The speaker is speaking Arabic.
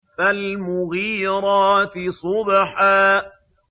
فَالْمُغِيرَاتِ صُبْحًا